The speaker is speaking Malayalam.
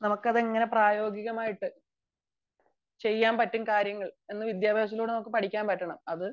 നമുക്ക് അതെങ്ങനെ പ്രയോഗികമായിട്ടു ചെയ്യാൻ പറ്റും കാര്യങ്ങൾ എന്ന് വിദ്യാഭ്യാസത്തിലൂടെ നമുക്ക് പഠിക്കാൻ പറ്റണം